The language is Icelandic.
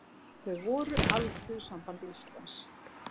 Þau voru Alþýðusamband Íslands